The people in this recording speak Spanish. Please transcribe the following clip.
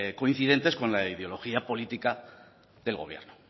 coincidentes con la ideología política del gobierno